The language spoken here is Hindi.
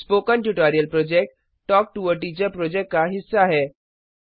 spoken tutorial project talk to a teacher project का हिस्सा है